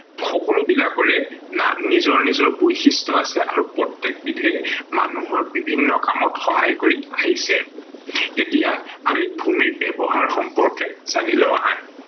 সকলো বিলাকৰে নিজৰ নিজৰ বৈশিষ্ট আছে আৰু প্ৰতেক বিধেই মানুহৰ বিভিন্ন কামত সহায় কৰি আহিছে। এতিয়া আমি ভূমি ব্যৱহাৰ সম্পৰ্কে জানি লও আহা